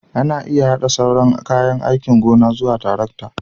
Ana iya haɗa sauran kayan aikin gona zuwa tarakta